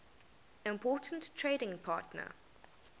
important trading partner